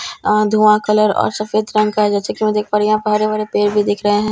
आह दुहा कलर और सफेद रंग का जैसे की मैं देख पा रही हूँ यहां पर बड़े बड़े पेड़ भी दिख रहे हैं।